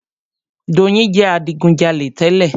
Doyin jẹ adigujalè tẹ́lẹ̀.